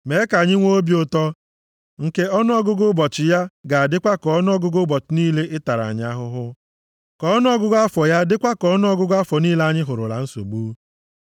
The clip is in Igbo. Mee ka anyị nwee obi ụtọ, nke ọnụọgụgụ ụbọchị ya ga-adịkwa ka ọnụọgụgụ ụbọchị niile ị tara anyị ahụhụ, ka ọnụọgụgụ afọ ya dịkwa ka ọnụọgụgụ afọ niile anyị hụrụla nsogbu.